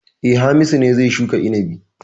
E, Hamisu ne zai shuka inabi.